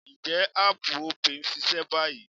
Ǹjẹ́ áàpù Opay ń ṣiṣẹ́ báyìí?